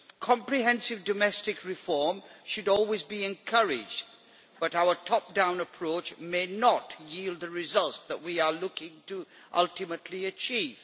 Comprehensive domestic reform should always be encouraged, but our top down approach may not yield the results that we are looking to ultimately achieve.